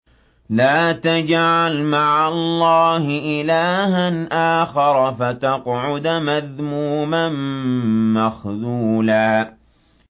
لَّا تَجْعَلْ مَعَ اللَّهِ إِلَٰهًا آخَرَ فَتَقْعُدَ مَذْمُومًا مَّخْذُولًا